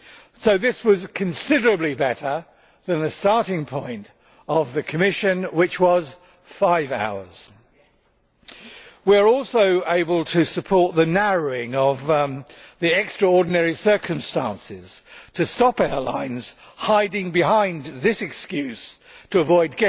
So this is considerably better than the starting point of the Commission, which was five hours. We are also able to support the narrowing of the extraordinary circumstances to stop airlines hiding behind this excuse to avoid